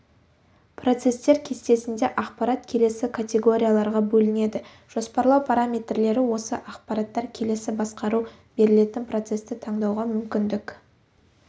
процесстер кестесінде ақпарат келесі категорияларға бөлінеді жоспарлау параметрлері осы ақпараттар келесі басқару берілетін процесті таңдауға мүмкіндік